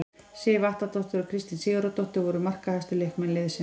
Sif Atladóttir og Kristín Sigurðardóttir voru markahæstu leikmenn liðsins.